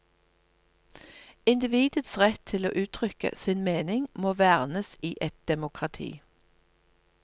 Individets rett til å uttrykke sin mening må vernes i et demokrati.